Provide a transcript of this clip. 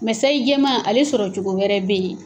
Mɛ sayi jɛma ale sɔrɔ cogo wɛrɛ bɛ yen